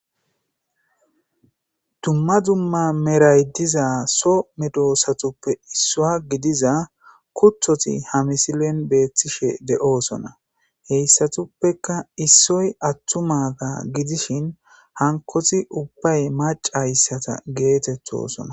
Dumma dumma meray diza so medosatuppe issua gidiza kuthoti hamisilen beettishe de'oosona heyssatuppeka issoy attumaga gidishin hankoti ubbay maca hayssata geetettosona